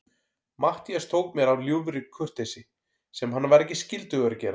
Matthías tók mér af ljúfri kurteisi, sem hann var ekkert skyldugur að gera.